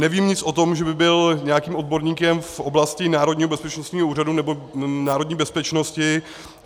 Nevím nic o tom, že by byl nějakým odborníkem v oblasti Národního bezpečnostního úřadu nebo národní bezpečnosti.